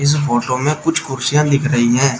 इस फोटो में कुछ कुर्सियां लिख रही हैं।